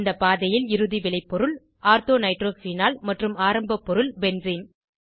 இந்த பாதையில் இறுதி விளைப்பொருள் ஆர்தோ நைட்ரோபீனால் மற்றும் ஆரம்ப பொருள் பென்சீன்